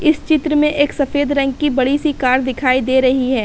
इस चित्र में एक सफ़ेद रंग की बड़ी सी कार दिखाई दे रही है।